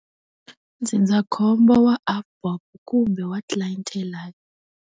Ndzindzakhombo wa AVBOB kumbe wa Clientele Life.